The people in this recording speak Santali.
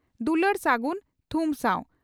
ᱫᱩᱞᱟᱹᱲ ᱥᱟᱹᱜᱩᱱ ᱛᱷᱩᱢ ᱥᱟᱣ